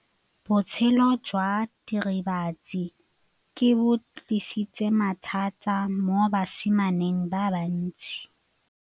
Botshelo jwa diritibatsi ke bo tlisitse mathata mo basimaneng ba bantsi.